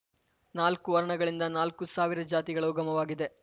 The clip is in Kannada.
ನಾಲ್ಕು ವರ್ಣಗಳಿಂದಾಗಿ ನಾಲ್ಕು ಸಾವಿರ ಜಾತಿಗಳ ಉಗಮವಾಗಿದೆ